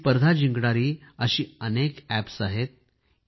ही स्पर्धा जिंकणारी अशी अनेक अॅप्स आहेत